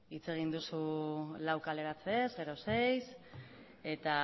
hitz egin duzu lau kaleratzeez gero seiz eta